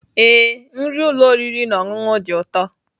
Ee, nri ụlọ oriri na ọṅụṅụ dị ụtọ.